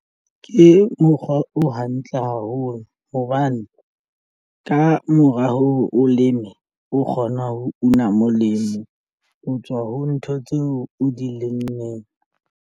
Ke mokgwa o hantle haholo hobane ka mora hore o leme o kgona ho una molemo ho tswa ho ntho tseo o dilemeng.